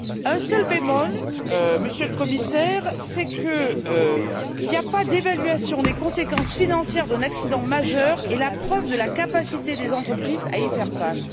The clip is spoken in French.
Un seul bémol, Monsieur le Commissaire, c'est qu'il n'y a pas d'évaluation des conséquences financières d'un accident majeur et la preuve de la capacité des entreprises à y faire face.